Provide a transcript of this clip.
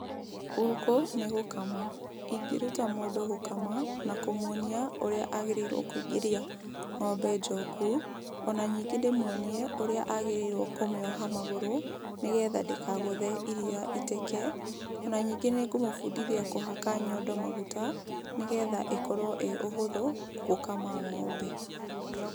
Gũkũ nĩ gũkama. Ingĩruta mũndũ gũkama na kũmuonia ũrĩa agĩrĩirwo kũingĩria ng'ombe njoku, ona ningĩ ndĩmuonie ũrĩa agĩrĩirwo kũmĩoha magũrũ nĩ getha ndĩkagũthe iriia iteke. O na ningĩ nĩ ngũmũbundithia kũhaka nyondo maguta nĩ getha ĩkorwo ĩ ũhũthũ gũkama ng'ombe.